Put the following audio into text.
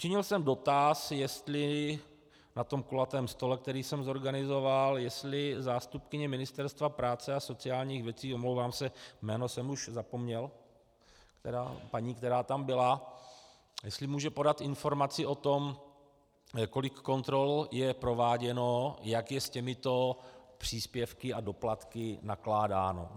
Činil jsem dotaz, jestli na tom kulatém stole, který jsem zorganizoval, jestli zástupkyně Ministerstva práce a sociálních věcí, omlouvám se, jméno jsem už zapomněl, paní, která tam byla, jestli může podat informaci o tom, kolik kontrol je prováděno, jak je s těmito příspěvky a doplatky nakládáno.